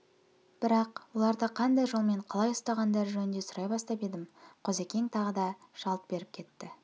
бірақ оларды қандай жолмен қалай ұстағандары жөнінде сұрай бастап едім қозыкең тағы да жалт беріп кетті